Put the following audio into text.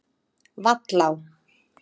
Vallá